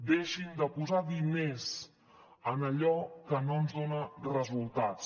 deixin de posar diners en allò que no ens dona resultats